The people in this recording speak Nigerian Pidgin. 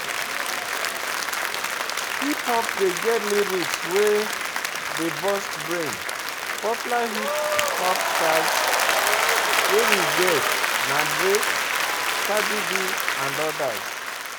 Hip hop dey get lyrics wey dey burst brain, popular hip-hop stars wey we get na Drake, Cardie-B and odas